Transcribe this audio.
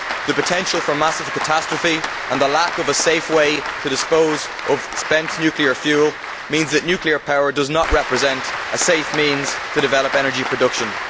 The potential for massive catastrophe and the lack of a safe way to dispose of spent nuclear fuel means that nuclear power does not represent a safe means to develop energy production.